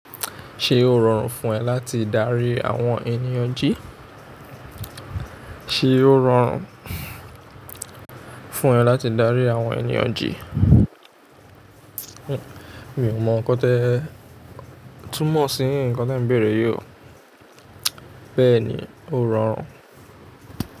Ṣé ó rọrùn fún ẹ láti dárí àwọn ènìyàn jí? Ṣé ó rọrùn fún ẹ láti dárí àwọn ènìyàn jí? Mi ò mọ n̄ kán tẹ́, túnmọ̀ sí ǹkán tí ǹ bẹ̀rẹ̀ yi o. Bẹ́ẹ̀ ni, ó rọrùn.